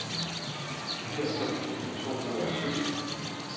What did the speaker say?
fireoghalvfems tusind to hundrede og syv